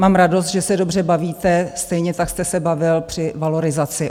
Mám radost, že se dobře bavíte, stejně tak jste se bavil při valorizaci.